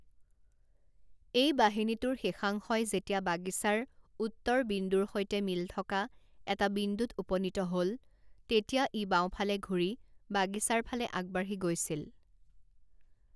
এই বাহিনীটোৰ শেষাংশই যেতিয়া বাগিছাৰ উত্তৰ বিন্দুৰ সৈতে মিল থকা এটা বিন্দুত উপনীত হ'ল, তেতিয়া ই বাওঁফালে ঘূৰি বাগিছাৰ ফালে আগবাঢ়ি গৈছিল।